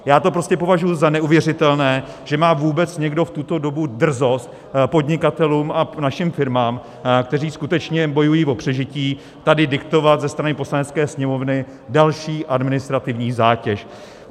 Já to prostě považuju za neuvěřitelné, že má vůbec někdo v tuto dobu drzost podnikatelům a našim firmám, kteří skutečně bojují o přežití, tady diktovat ze strany Poslanecké sněmovny další administrativní zátěž.